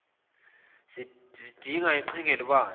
zidinga iqhinga elibanzi